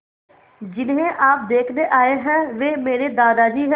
जिन्हें आप देखने आए हैं वे मेरे दादाजी हैं